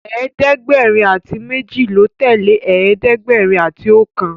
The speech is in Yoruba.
ẹ̀ẹ́dẹ̀gbẹ̀rin ati méjì ló tẹlẹ ẹ̀ẹ́dẹ̀gbẹ̀rin àti okan.